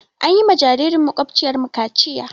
An yi wa jaririn maƙwabciyarmu kaciya.